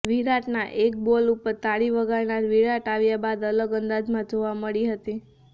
વિરાટના એક બોલ ઉપર તાળી વગાડનાર વિરાટ આવ્યા બાદ અલગ અંદાજમાં જોવા મળી હતી